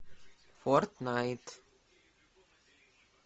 фортнайт